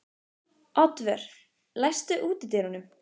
Oddvör, læstu útidyrunum.